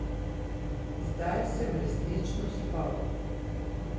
Zdaj sem resnično spal.